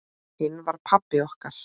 Hinn var pabbi okkar.